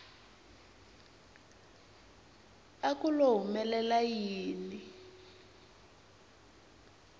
a ku lo humelela yini